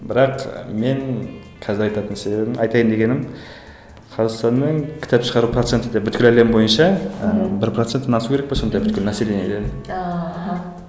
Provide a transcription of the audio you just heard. бірақ мен қазір айтатын себебім айтайын дегенім қазақстанның кітап шығару проценті де бүкіл әлем бойынша ы бір проценттен асу керек пе сондай бір бүкіл населениеден ааа аха